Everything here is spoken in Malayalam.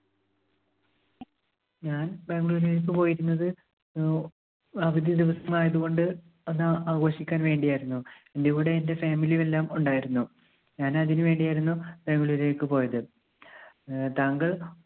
ഞാൻ ബാംഗ്ലൂരിലേക്ക് പോയിരുന്നത് അഹ് അവധി ദിവസം ആയതുകൊണ്ട് അത് ആഘോഷിക്കാൻ വേണ്ടിയായിരുന്നു. എൻറെ കൂടെ എൻറെ family യും എല്ലാം ഉണ്ടായിരുന്നു ഞാൻ അതിനു വേണ്ടി ആയിരുന്നു ബാംഗ്ലൂരിലേക്ക് പോയത്. ആഹ് താങ്കൾ